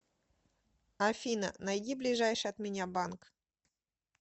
афина найди ближайший от меня банк